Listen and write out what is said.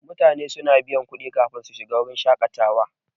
Mutane suna biyan kudi kafin su shiga wuraren shaƙatawa.